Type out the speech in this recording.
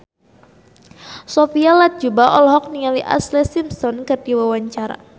Sophia Latjuba olohok ningali Ashlee Simpson keur diwawancara